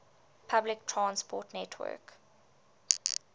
public transport network